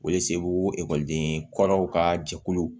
O ye segu ekɔliden kɔrɔw ka jɛkulu